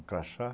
Um crachá?